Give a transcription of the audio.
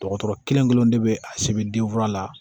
Dɔgɔtɔrɔ kelen kelen de bɛ a sɛbɛn denfura la